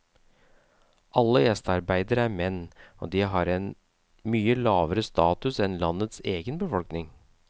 Alle gjestearbeidere er menn, og de har en mye lavere status enn landets egen befolkning.